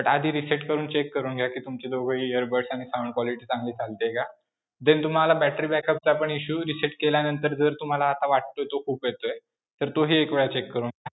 But आधी reset करून check करून घ्या कि तुमचे दोघे earbuds आणि sound quality चांगली चालतेय का. then तुम्हाला battery backup चा पण issue, reset केल्यानंतर जर तुम्हाला आता वाटतोय तो खूप येतोय, तोही एकवेळ check करून घ्या.